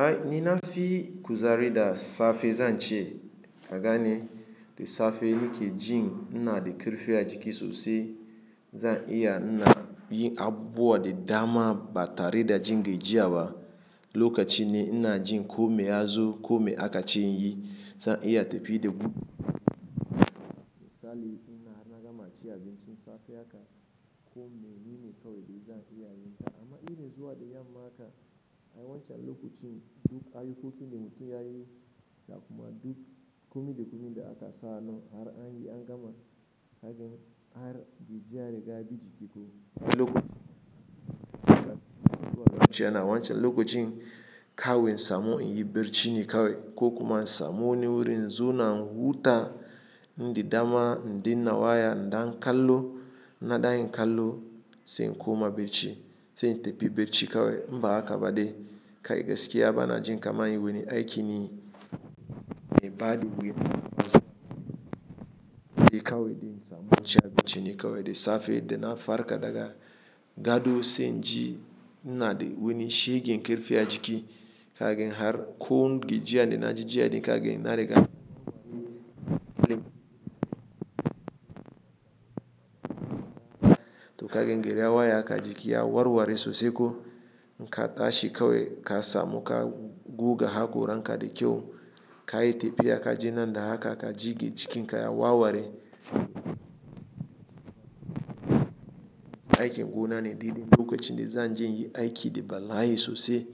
Ai ni nafi kuzari da safe zan ce, ka gani da safe nike jin ina da karfi a jiki sosai, zan iya ina yi abuwa da dama ba tare da jin gajiya ba. Lokacin ne na jin kome ya zo, kome aka ce in yi. Zan iya tafi da buhu misali in na gama cin abincin safe haka kome nene kawai da zan iya yin ta. Amma iri zuwa da yamma haka ai wancan lokacin duk ayukokin da mutum ya yi da kuma duk komi da aka sa hannu har an yi an gama, ka jin har gajiya riga biji kiko. Lokacin da kuma na wuce ana wancan lokacin kawai in samo in yi barci ne kawai ko kuma in samo ni wuri in zauna in huta, in dama in danna waya, in dan kallo, in da yin kallo sai in koma barci, sai in tafi barci kawai. Mba haka badai kai gaskiya ba na jin kama yin wani aiki ne mai baɗi wuya. Kawai in samu ci abincin ne kawai da safe da na farka daga gado sai in ji ina da wani shegen karfi a jiki. Ka gan har ko gajiya da na ji jiya ne ka gan ina riga ɗaki. To ka gan gari ya waye haka jiki ya warware sosai ko in ka tashi kawai ka samu ka guga haƙoran ka da kyau. Kai yi tafiya ka je nan da haka ka ji jikin ka ya warware. Aikin gona ne ɗibi lokacin da zan je yi aiki da bala'i sosai.